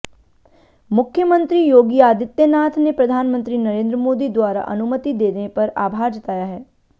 मुख्यमंत्री योगी आदित्य नाथ ने प्रधानमंत्री नरेंद्र मोदी द्वारा अनुमति देने पर आभार जताया है